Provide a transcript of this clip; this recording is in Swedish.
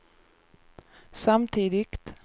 samtidigt